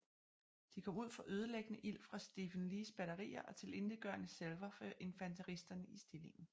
De kom ud for ødelæggende ild fra Stephen Lees batterier og tilintetgørende salver fra infanteristerne i stillingen